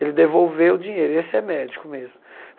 Ele devolveu o dinheiro, esse é médico mesmo.